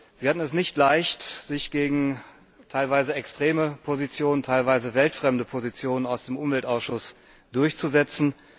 Sie hatten es nicht leicht, sich gegen teilweise extreme Positionen, teilweise weltfremde Positionen aus dem Umweltausschuss durchzusetzen.